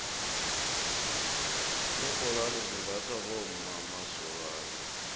iinrholwone zimbathwa bommqmasokana